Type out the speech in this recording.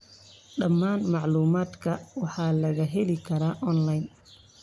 Dhammaan macluumaadka waxaa laga heli karaa onlayn.